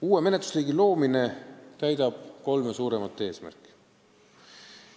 Uue menetlusliigi loomine täidab kolme suuremat eesmärki.